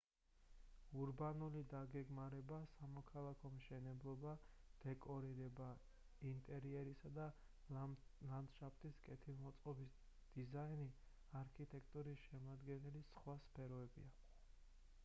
ურბანული დაგეგმარება სამოქალაქო მშენებლობა დეკორირება ინტერიერის და ლანდშაფტის კეთილმოწყობის დიზაინი არქიტექტურის შემადგენელი სხვა სფეროებია